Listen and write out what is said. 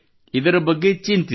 ಇದರ ಬಗ್ಗೆ ಚಿಂತಿಸಿ